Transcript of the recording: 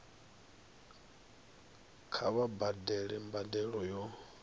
kha vha badele mbadelo ya